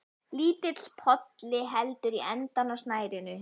Lítill polli heldur í endann á snærinu.